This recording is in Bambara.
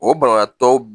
O banabaatɔw